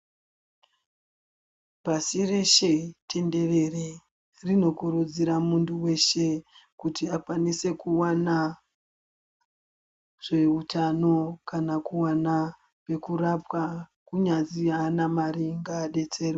Pasireshe tenderere rinokurudzira muntu weshe kuti akwanise kuwanazveutano kana kuwana pekurapwa, kunyazwi haana mari ngaadetserwe.